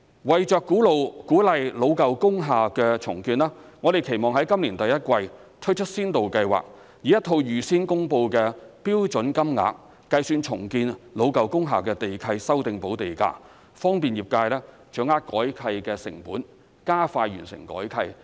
為鼓勵老舊工廈重建，我們期望在今年第一季推出先導計劃，以一套預先公布的標準金額計算重建老舊工廈的地契修訂補地價，方便業界掌握改契成本，加快完成改契。